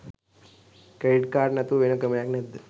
Credit card නැතුව වෙන ක්‍රමයක් නැද්ද?